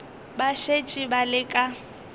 ba šetše ba le ka